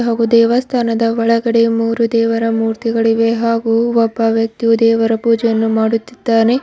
ಹಾಗೂ ದೇವಸ್ಥಾನದ ಒಳಗಡೆ ಮೂರು ದೇವರ ಮೂರ್ತಿಗಳಿವೆ ಹಾಗೂ ಒಬ್ಬ ವ್ಯಕ್ತಿಯು ದೇವರ ಪೂಜೆಯನ್ನು ಮಾಡುತ್ತಿದ್ದಾನೆ.